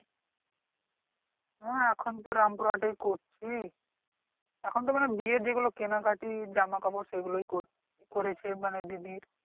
না এখন তো রামপুর হাটেই করছি এখন তো মনে হয় বিয়ের যেগুলো কেনাকাটা জামা কাপড় সেগুলোই কর করেছি মানে দিদির